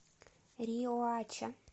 риоача